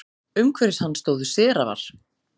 Umhverfis hann stóðu serafar.